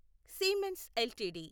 Siemens LTD